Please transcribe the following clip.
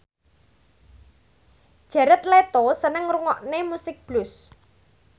Jared Leto seneng ngrungokne musik blues